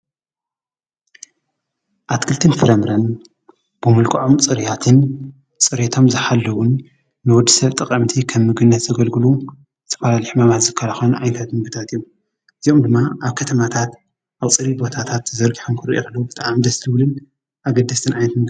ኣትክልትን ፍራምረን ብመልክዖም ፁሩያትን ፅሬቶም ዝሓለዉን ንወዲ ሰብ ጠቀምቲ ከም ምግብነት ዘገልግሉ ዝተፈላለዩ ሕማማት ዝከላከሉ ዓይነታት ምግብታት እዮም፡፡ እዚኦም ድማ ኣብ ከተማታት ኣብ ፅሩይ ቦታታት ተዘርጊሖም እንትንሪኦም ከለና ብጣዕሚ ደስ ዝብሉን ኣገደስቲን ምግብታት እዮም፡፡